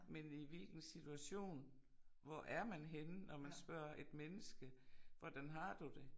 Men i hvilken situation hvor er man henne når man spørger et menneske hvordan har du det